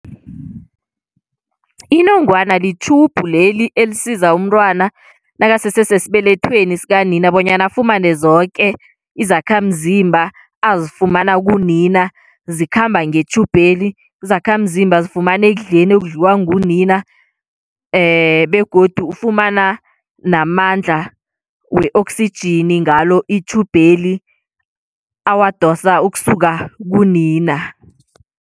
Inongwana li-tube leli elisiza umntwana nakasese sesibelethweni sikanina bonyana afumane zoke izakhamzimba azifumana kunina zikhamba nge-tube leli, izakhamzimba zifumane ekudleni ekudliwa ngunina begodu ufumana namandla we-oxygen ngalo i-tube leli, awadosa ukusuka kunina.